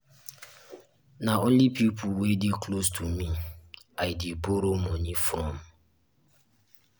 na only pipo wey dey close to me i um dey borrow um moni from.